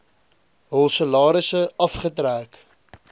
hul salarisse afgetrek